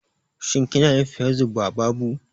Shin kinayin Facebook ba babu?